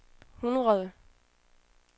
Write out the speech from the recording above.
hundrede